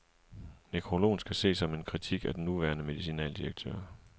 Nekrologen skal ses som en kritik af den nuværende medicinaldirektør.